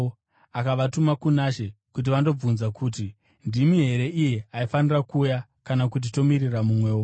akavatuma kuna She kuti vandobvunza kuti, “Ndimi here iye aifanira kuuya kana kuti tomirira mumwewo?”